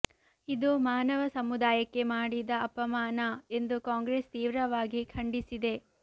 ಇದು ಮಾನವ ಸಮುದಾಯಕ್ಕೆ ಮಾಡಿದ ಅಪಮಾನ ಎಂದು ಕಾಂಗ್ರೆಸ್ ತೀವ್ರವಾಗಿ ಖಂಡಿಸಿದೆ